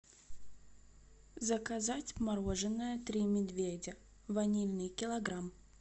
заказать мороженое три медведя ванильный килограмм